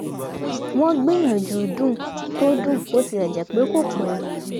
wọ́n gbìyànjú dùn tó dùn bó tilẹ̀ jẹ́ pé kò pé